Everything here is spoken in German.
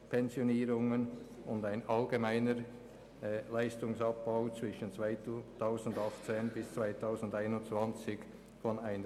Weiter ist ein allgemeiner Leistungsabbau von 0,5 Mio. Franken zwischen 2018 und 2021 vorgesehen.